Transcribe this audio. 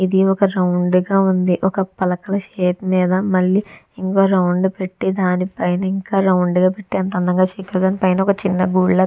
ఇది ఒక రౌండ్ గా ఉంది. ఒక పలకల షేప్ మీద మళ్ళీ ఇంకో రౌండ్ పెట్టి దానిపై ఇంకా రౌండ్ పెట్టి దాని పైన ఒక చిన్న గూడి లాగా--